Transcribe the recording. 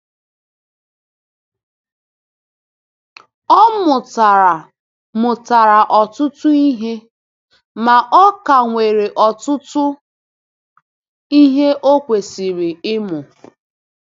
Ọ mụtara mụtara ọtụtụ ihe, ma ọ ka nwere ọtụtụ ihe o kwesịrị ịmụ.